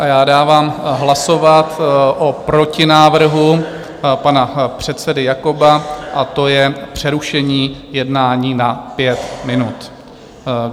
A já dávám hlasovat o protinávrhu pana předsedy Jakoba, a to je přerušení jednání na pět minut.